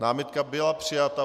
Námitka byla přijata.